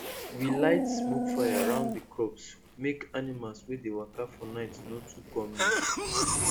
we light smokefire round the crops make animals wey dey waka for night no too come near